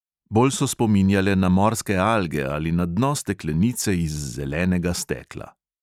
Bolj so spominjale na morske alge ali na dno steklenice iz zelenega stekla.